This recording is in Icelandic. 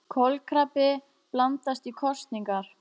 Kolkrabbi blandast í kosningar